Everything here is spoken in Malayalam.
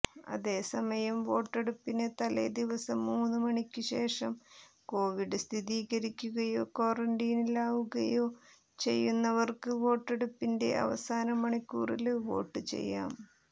അതേസമയം വോട്ടെടുപ്പിന് തലേ ദിവസം മൂന്നു മണിക്കുശേഷം കൊവിഡ് സ്ഥിരീകരിക്കുകയോ ക്വാറന്റീനിലാവുകയോ ചെയ്യുന്നവര്ക്ക് വോട്ടെടുപ്പിന്റെ അവസാന മണിക്കൂറില് വോട്ട് ചെയ്യാം